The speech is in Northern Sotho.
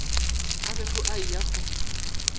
a bego a eya go